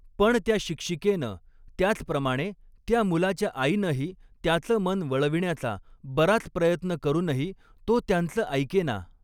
पण त्या शिक्षिकेनं, त्याचप्रमाणे त्या मुलाच्या आईनंही त्याचं मन वळविण्याचा बराच प्रयत्न करूनही, तो त्यांच ऐकेना.